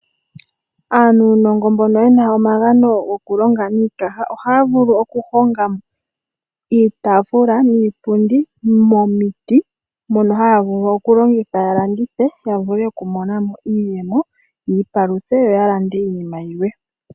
Aanunongo mbono yena omagamo gokulonga niikaha ohaavulu oku honga iitafula niipundi momiti mono haavulu okulongitha yalandithe yavule okumonamo iiyemo, yiipaluthe yo yalande iinima yilwe.